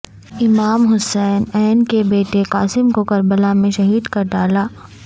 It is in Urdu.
امام حسن ع کے بیٹے قاسم کو کربلا میں شہید کرڈالا